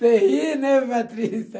Você ri, né, Beatriz?